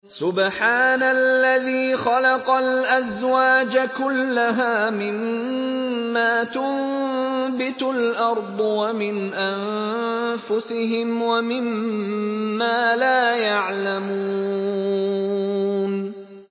سُبْحَانَ الَّذِي خَلَقَ الْأَزْوَاجَ كُلَّهَا مِمَّا تُنبِتُ الْأَرْضُ وَمِنْ أَنفُسِهِمْ وَمِمَّا لَا يَعْلَمُونَ